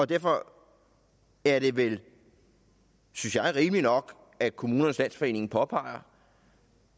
derfor er det vel synes jeg rimeligt nok at kommunernes landsforening påpeger